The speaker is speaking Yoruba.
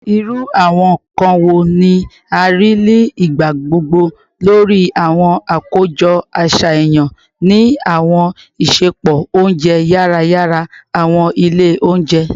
Iru awọn nkan wo ni a rii ni igbagbogbo lori awọn akojọ aṣayan ni awọn isẹpo ounjẹ yara yara / awọn ile ounjẹ?